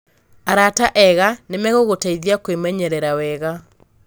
Arata ega nĩ megũgũteithia kwĩmenyerera wega.